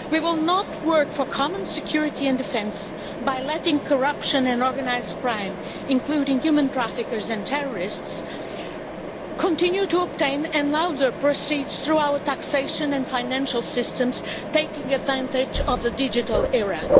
We will not work for common security and defence by letting corruption and organised crime, including human trafficking and terrorism, continue, and by allowing the proceeds through our taxation and financial systems, taking advantage of the digital era.